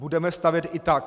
Budeme stavět i tak.